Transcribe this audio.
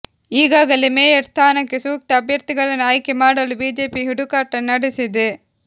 ಈಗಾಗಲೇ ಮೇಯರ್ ಸ್ಥಾನಕ್ಕೆ ಸೂಕ್ತ ಅಭ್ಯರ್ಥಿಗಳನ್ನು ಆಯ್ಕೆ ಮಾಡಲು ಬಿಜೆಪಿ ಹುಡುಕಾಟ ನಡೆಸಿದೆ